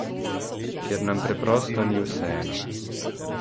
Ker nam preprosto ni vseeno.